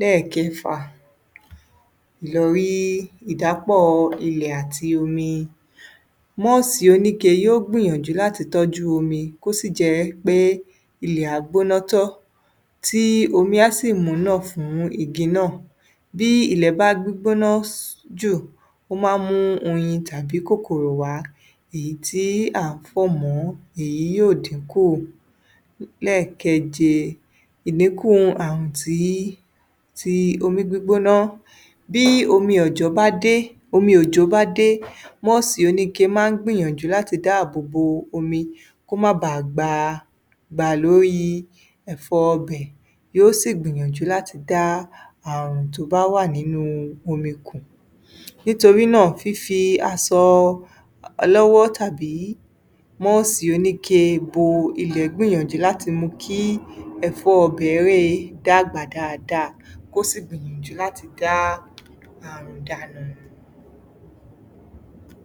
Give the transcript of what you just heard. Lẹ́ẹ̀kẹfà, ìlọrí ìdàpọ̀ ilẹ̀ àti omi. Mọ́ọ̀sì oníke yó gbìyànjú láti tọ́jú omi kó sì jẹ́ pé ilẹ̀ á gbóná tán, tí omi á sì múnà fún igi náà. Bí ilẹ̀ bá gbígbóná jù, ó máa ń mú oyin tàbí kòkòrò wá, èyí tí à ń fọ̀ mọ́, èyí yóò dínkù. Lẹ́ẹ̀keje, ìlékún ààrùn tí, ti omí gbígbóná. Bí omi ọ̀jọ́ bá dé, omi òjò bá dé, mọ́ọ̀sì oníke máa ń gbìyànjú láti dáàbò bo omi kó má baà gba, bà lórí ẹ̀fọ́ ibẹ̀, yó sì gbìyànjú láti dá ààrùn tó bá wà nínú omi kù. Nítorí náà, fíi asọ ọlọ́wọ́ tàbí mọ́ọ̀sì oníke bo ilẹ̀ gbìyànjú láti mú kí ẹ̀fọ́ ibẹ̀ẹ́re dàgbà dáadáa, kó sì gbìyànjú láti dá ààrùn dànù.